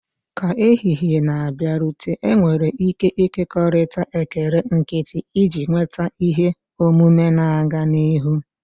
Ka ehihie na-abịarute, enwere ike ịkekọrịta ekele nkịtị, iji kweta ihe omume na-aga n'ihu.